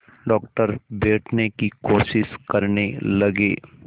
doctor बैठने की कोशिश करने लगे